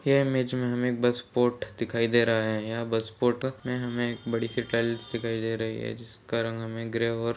ये इमेज में हमें एक बस पोर्ट दिखाई दे रहा है यहाँ पे बस पोर्ट पे हमें एक बड़ी- सी दिखाई दे रही है जिसका रंग हमें ग्रे और--